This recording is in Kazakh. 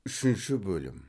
үшінші бөлім